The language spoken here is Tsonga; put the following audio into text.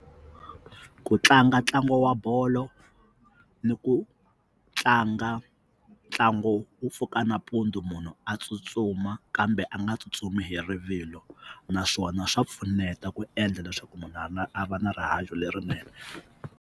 Ku tlanga ntlangu wa bolo ni ku tlanga ntlangu wu pfuka nampundzu munhu a tsutsuma kambe a nga tsutsumi hi rivilo naswona swa pfuneta ku endla leswaku munhu a ri na a va na rihanyo lerinene.